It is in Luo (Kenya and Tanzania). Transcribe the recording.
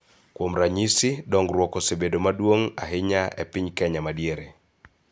Kuom ranyisi, dongruok osebedo maduong� ahinya e piny Kenya ma Diere�